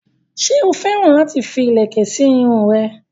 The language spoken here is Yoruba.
ṣé ó féràn láti fi ìlẹ̀kẹ̀ sí irun rẹ̀?